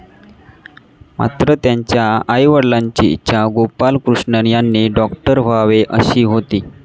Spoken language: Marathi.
मात्र, त्यांच्या आईवडिलांची इच्छा गोपालकृष्णन यांनी डॉक्टर व्हावे अशी होती.